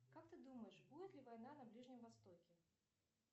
как ты думаешь будет ли война на ближнем востоке